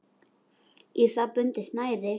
Í það er bundið snæri.